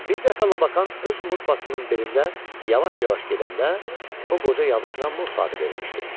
Bir dəfə Labakan öz murfasının belində yavaş-yavaş gedəndə, o qoca yabasını murfa adı vermişdi.